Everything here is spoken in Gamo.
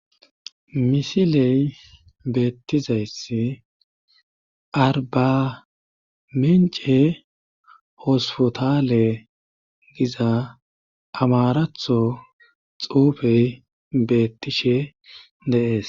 Misiley beettizayssi arbamence hospotale giza amaratho xuufey beettishe deees